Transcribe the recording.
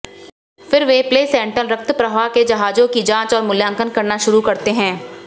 फिर वे प्लेसेंटल रक्त प्रवाह के जहाजों की जांच और मूल्यांकन करना शुरू करते हैं